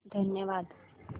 धन्यवाद